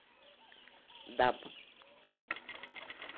даб